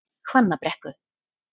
Hvannabrekku